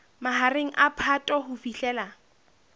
mahareng a phato ho fihlela